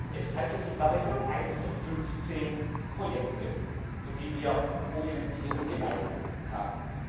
Es handelt sich dabei um 115 Projekte, für die wir Ko Finanzierung geleistet haben.